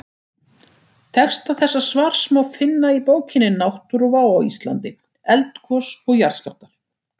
Texta þessa svars má finna í bókinni Náttúruvá á Íslandi: Eldgos og jarðskjálftar.